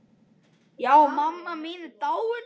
Já, mamma mín er dáin.